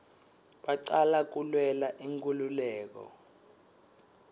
bacala kulwela inkululeko